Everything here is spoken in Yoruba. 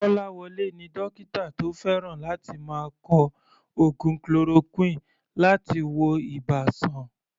Kolawole ni dókítà tó fẹ́ràn láti máa kọ oògùn chloroquine láti wo ibà sàn.